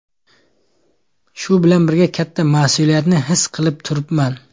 Shu bilan birga katta mas’uliyatni his qilib turibman.